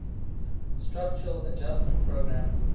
structural adjustment program